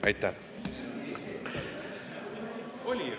Aitäh!